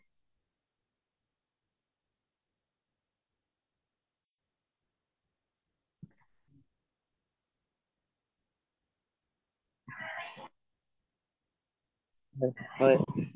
হয়